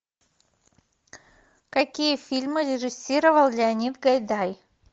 какие фильмы режиссировал леонид гайдай